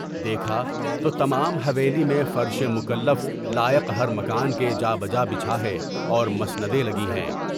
دیکھا تو تمام حویلی میں فرشِ مکلف لائق ہر مکان کے جابجا بچھا ہے اور مسندیں لگی ہیں ۔